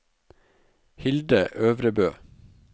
Hilde Øvrebø